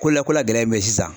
Ko la, ko la gɛlɛn ye mun ye sisan.